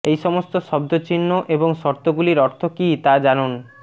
ঐ সমস্ত শব্দচিহ্ন এবং শর্তগুলির অর্থ কী তা জানুন